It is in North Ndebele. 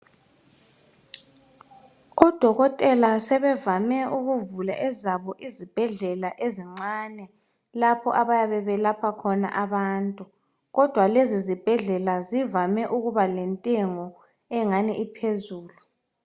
oDokotela sebevame ukuvula ezabo izibhedlela ezincane lapho abayabe belapha khona abantu kodwa lezi zibhedlela zivame ukuba lentengo engani iphezulu.